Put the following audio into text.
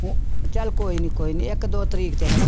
ਚੱਲ ਕੋਈ ਨੀ ਕੋਈ ਨੀ ਇੱਕ ਦੋ ਤਰੀਕੇ ਤੇ ਹਨਾ